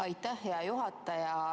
Aitäh, hea juhataja!